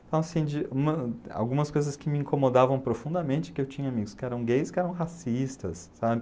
Então, assim, de uma algumas coisas que me incomodavam profundamente, que eu tinha amigos que eram gays, que eram racistas, sabe?